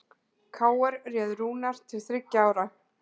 KR réð Rúnar til þriggja ára